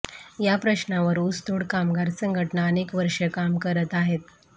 या प्रश्नांवर ऊसतोड कामगार संघटना अनेक वर्षे काम करत आहेत